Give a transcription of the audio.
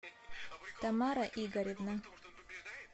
тамара игоревна